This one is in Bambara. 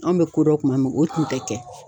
An bɛ kodɔn kuma min o tun tɛ kɛ.